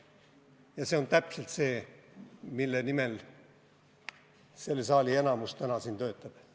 Paraku on see täpselt see, mille nimel selles saalis enamik täna siin töötab.